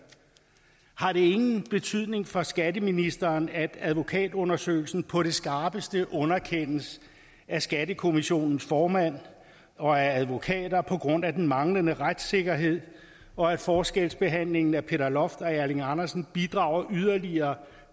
har det ingen betydning for skatteministeren at advokatundersøgelsen på det skarpeste underkendes af skattekommissionens formand og af advokater på grund af den manglende retssikkerhed og at forskelsbehandlingen mellem peter loft og erling andersen bidrager yderligere